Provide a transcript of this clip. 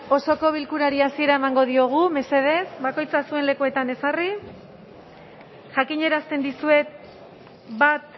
osoko bilkurari hasiera emango diogu mesedez bakoitza zuen lekuetan jezarri jakinarazten dizuet bat